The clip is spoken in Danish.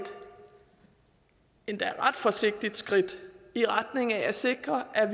endda ret forsigtigt skridt i retning af at sikre at